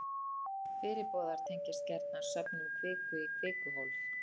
fyrirboðar tengjast gjarna söfnun kviku í kvikuhólf